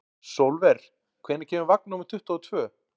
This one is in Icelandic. Sólver, hvenær kemur vagn númer tuttugu og tvö?